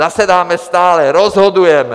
Zasedáme stále, rozhodujeme!